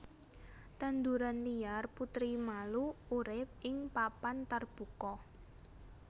Tanduran liar putri malu urip ing papan tarbuka